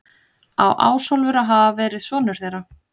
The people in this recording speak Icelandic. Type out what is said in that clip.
Á Ásólfur að hafa verið sonur þeirra.